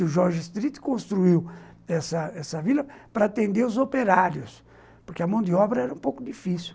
O George Street construiu essa essa vila para atender os operários, porque a mão de obra era um pouco difícil.